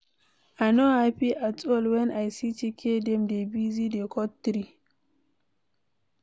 I no happy at all wen I see as Chike dem dey busy dey cut tree.